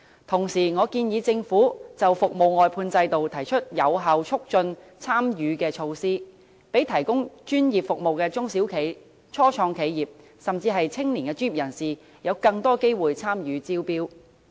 同時，我建議政府就服務外判制度提出有效促進參與的措施，讓提供專業服務的中小企、初創企業，甚至年青專業人士有更多機會參與招標。